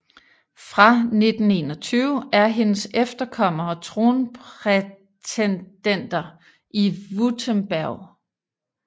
Fra 1921 er hendes efterkommere tronprætendenter i Württemberg